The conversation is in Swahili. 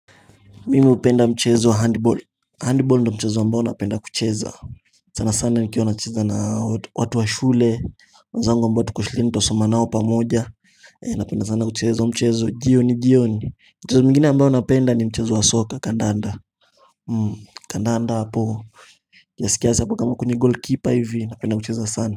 Mimi hupenda mchezo handball handball ndo mchezo ambao napenda kucheza sana sana nikiwa nacheza naa watu wa shule wenzangu ambao tuko shuleni twasoma nao pamoja napenda sana kucheza mchezo jioni jioni mchezo mingine ambao napenda ni mchezo wa soka kandanda kandanda hapo kiasi kiasi apo kama kuni goalkeeper hivi napenda kucheza sana.